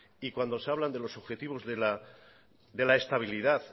y cuando se hablan de los objetivos de la estabilidad